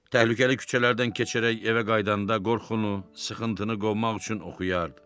Təhlükəli küçələrdən keçərək evə qayıdanda qorxunu, sıxıntını qovmaq üçün oxuyardı.